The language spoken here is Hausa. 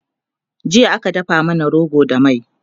jiya aka dafa mana rogo da mai